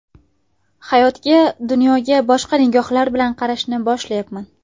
Hayotga, dunyoga boshqa nigohlar bilan qarashni boshlayapman.